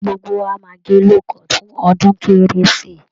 Gbogbo wa máa gẹ low-cut fun ọdún kérésì